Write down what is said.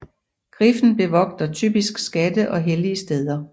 Griffen bevogter typisk skatte og hellige steder